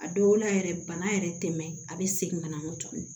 A dɔw la yɛrɛ bana yɛrɛ tɛ tɛmɛ a bɛ segin ka na tuguni